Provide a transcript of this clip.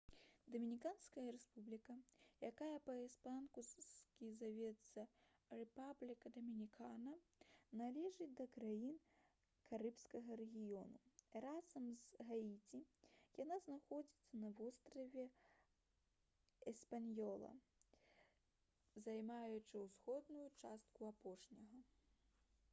дамініканская рэспубліка якая па-іспанску завецца república dominicana належыць да краін карыбскага рэгіёну. разам з гаіці яна знаходзіцца на востраве эспаньёла займаючы ўсходнюю частку апошняга